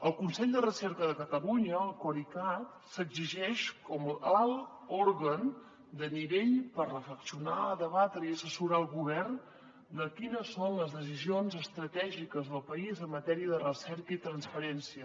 el consell de recerca de catalunya el corecat s’erigeix com l’alt òrgan de nivell per reflexionar debatre i assessorar el govern de quines són les decisions estratègiques del país en matèria de recerca i transferència